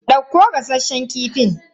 Dauko gasasshen kifin.